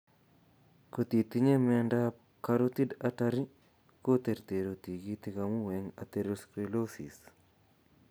Kotitinye miondab carotid artery kotertertu tigitik amun eng' atherosclerosis